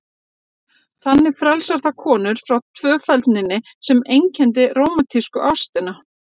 Þannig frelsar það konur frá tvöfeldninni sem einkenndi rómantísku ástina.